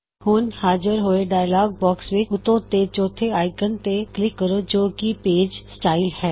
ਹੁਣ ਹਾਜ਼ਰ ਹੋਏ ਡਾਇਅਲੌਗ ਬਾਕਸ ਵਿੱਚ ਉੱਤੇ ਤੋਂ ਚੌੱਥੇ ਆਇਕੌਨ ਤੇ ਕਲਿੱਕ ਕਰੋ ਜੋ ਕੀ ਪੇਜ ਸਟਾਇਲਜ ਪੇਜ ਸਟਾਈਲਜ਼ ਹੈ